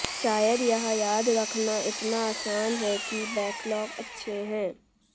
शायद यह याद रखना इतना आसान है कि बैकलॉग अच्छे हैं